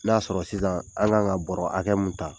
N'a sɔrɔ sisan an kan ka bɔrɔ hakɛ mun ta